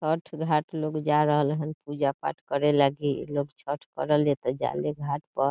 छठ घाट लोग जा रहल हन पूजा पाठ करे लाकि | लोग छठ करला त जाले घाट प |